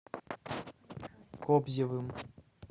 кобзевым